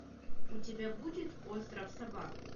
у тебя будет остров собак